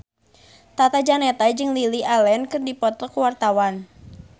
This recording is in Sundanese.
Tata Janeta jeung Lily Allen keur dipoto ku wartawan